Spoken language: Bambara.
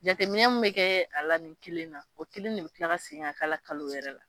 Jateminɛ min bɛ kɛ a la ni kelen na o kelen de bɛ tila ka segin ka kɛ a la kalo yɛrɛ la